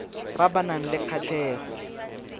ba ba nang le kgatlhego